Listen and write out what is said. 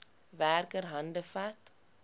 werker hande vat